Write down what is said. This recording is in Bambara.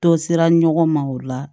Dɔ sera ɲɔgɔn ma o la